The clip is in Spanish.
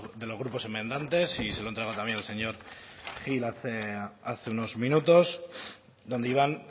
de los grupos enmendantes y se lo he entregado también al señor gil hace unos minutos donde iban